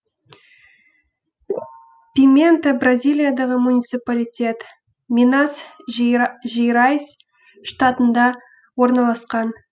пимента бразилиядағы муниципалитет минас жерайс штатында орналасқан